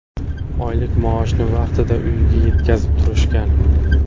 Oylik maoshimni vaqtida uyimga yetkazib turishgan.